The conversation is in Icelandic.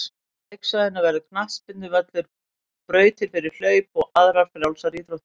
Á leiksvæðinu verður knattspyrnuvöllur, brautir fyrir hlaup og aðrar frjálsar íþróttir.